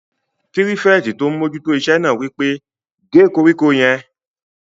Pírífẹ̀tì tó n mójú tó iṣẹ́ náà wí pé "gé koríko yẹn!"